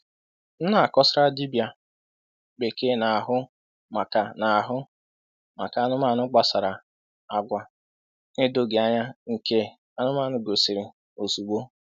M na-akọsara dibịa bekee na-ahụ maka na-ahụ maka anụmanụ gbasara agwa na-edoghị anya nke anụmanụ gosiri ozugbo.